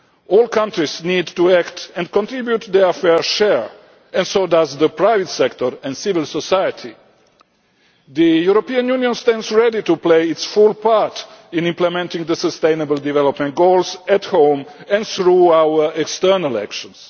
All countries need to act and contribute their fair share and so does the private sector and civil society. The European Union stands ready to play its full part in implementing the sustainable development goals at home and through our external actions.